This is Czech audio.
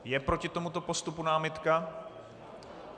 Je proti tomuto postupu námitka?